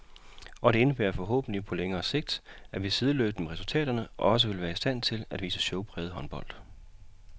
Og det indebærer forhåbentlig på lidt længere sigt, at vi sideløbende med resultaterne også vil være i stand til at vise showpræget håndbold.